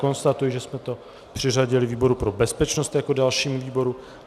Konstatuji, že jsme to přiřadili výboru pro bezpečnost jako dalšímu výboru.